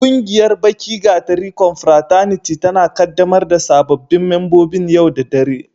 Ƙungiyar Baki gatari confrataniti tana ƙaddamar da sababbin membobin yau da dare.